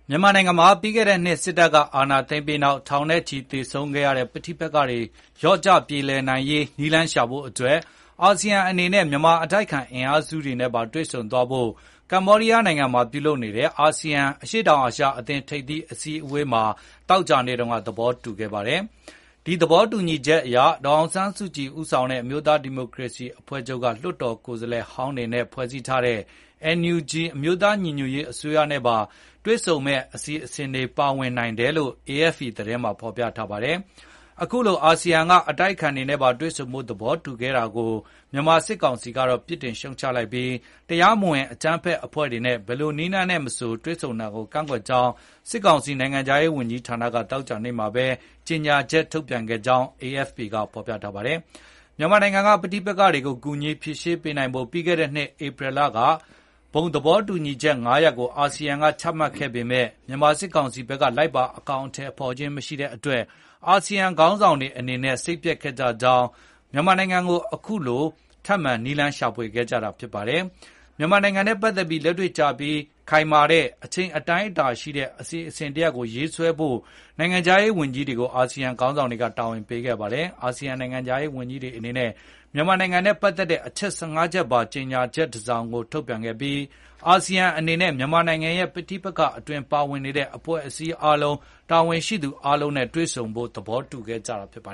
မြန်မာနိုင်ငံမှာ ပြီးခဲ့တဲ့နှစ် စစ်တပ်က အာဏာသိမ်းပြီးနောက် ထောင်နဲ့ချီသေဆုံးခဲ့ရတဲ့ ပဋိပက္ခတွေ လျော့ကျပြေလည်နိုင်ရေး နည်းလမ်းရှာဖို့အတွက် ASEAN အနေနဲ့ မြန်မာအတိုက်အခံ အင်အားစုတွေနဲ့ပါ တွေ့ဆုံသွားဖို့ ကမ္ဘောဒီးယားနိုင်ငံမှာ ပြုလုပ်နေတဲ့ ASEAN အရှေ့တောင်အာရှအသင်းထိပ်သီးအစည်းအဝေးမှာ သောကြာနေ့က သဘောတူခဲ့ကြပါတယ်။ ဒီသဘောတူညီချက်အရ ဒေါ်အောင်ဆန်းစုကြည် ဦးဆောင်တဲ့ အမျိုးသားဒီမိုကရေစီ အဖွဲ့ချုပ်က လွှတ်တော်ကိုယ်စားလှယ်ဟောင်းတွေနဲ့ဖွဲ့စည်းထားတဲ့ NUG အမျိုးသားညီညွတ်ရေး အစိုးရ နဲ့ ပါ တွေ့ဆုံမယ့် အစီအစဉ်တွေ ပါဝင်နိုင်တယ်လို့ AFP သတင်းမှာဖေါ်ပြထားပါတယ်။ အခုလို ASEAN က အတိုက်အခံတွေနဲ့ပါ တွေ့ဆုံဖို့ သဘောတူခဲ့တာကို မြန်မာစစ်ကောင်စီကတော့ ပြစ်တင်ရှုတ်ချလိုက်ပြီး၊ တရားမဝင် အကြမ်းဖက်အဖွဲ့တွေနဲ့ ဘယ်လိုနည်းလမ်းနဲ့မဆို တွေ့ဆုံတာကို ကန့်ကွက်ကြောင်း စစ်ကောင်စီနိုင်ငံခြားရေးဝန်ကြီးဌာနက သောကြာနေ့မှာပဲ ကြေငြာချက်ထုတ်ပြန်ခဲ့ကြောင်း AFP ကဖေါ်ပြထားပါတယ်။ မြန်မာနိုင်ငံက ပဋိပက္ခတွေကို ကူညီဖြေရှင်းနိုင်ဖို့ ပြီးခဲ့တဲ့နှစ် ဧပြီလက ဘုံသဘောတူညီချက် ၅ ရပ်ကိုချမှတ်ခဲ့ပေမယ့်၊ မြန်မာစစ်ကောင်ဘက်က လိုက်ပါအကောင်အထည်ဖေါ်ခြင်းမရှိတဲ့အတွက် အာဆီယံခေါင်းဆောင်တွေအနေနဲ့ စိတ်ပျက်ခဲ့ကြပြီးနောက်၊ မြန်မာနိုင်ငံကိစ္စကို အခုလို ထပ်မံနည်းလမ်းရှာခဲ့ကြတာဖြစ်ပါတယ်။ မြန်မာနိုင်ငံနဲ့ ပတ်သက်ပြီး လက်တွေ့ကျပြီး ခိုင်မာတဲ့ အချိန်အတိုင်းအတာရှိတဲ့ အစီအစဉ်တရပ်ကို ရေးဆွဲဖို့ နိုင်ငံခြားရေးဝန်ကြီးတွေကို တာဝန်ပေးခဲ့ပါတယ်။ အာဆီယံနိုင်ငံခြားရေးဝန်ကြီးတွေအနေနဲ့ မြန်မာနိုင်ငံနဲ့ ပတ်သက်တဲ့ အချက် ၁၅ ချက်ပါ ကြေညာချက်တဆောင်ကို ထုတ်ပြန်ခဲ့ပါတယ်။ အာဆီယံအနေနဲ့ မြန်မာနိုင်ငံရဲ့ ပဋိပက္ခအတွင်း ပါဝင်နေတဲ့ အဖွဲ့အစည်းအားလုံး၊ တာဝန်ရှိသူအားလုံးနဲ့ တွေ့ဆုံသွားဖို့ သဘောတူခဲ့ကြတာပါ